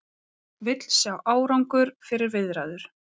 Vill sjá árangur fyrir viðræður